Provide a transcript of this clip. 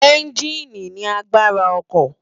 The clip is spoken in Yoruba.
Ènjìní ni ilé àgbárá òkò